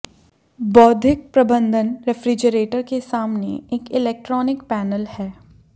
बौद्धिक प्रबंधन रेफ्रिजरेटर के सामने एक इलेक्ट्रॉनिक पैनल है